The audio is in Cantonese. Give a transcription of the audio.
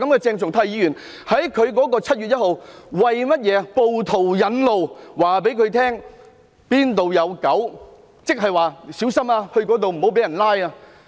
鄭松泰議員在7月1日為暴徒引路，告訴暴徒哪裏有"狗"，意思是"到這裏要小心，不要被拘捕"。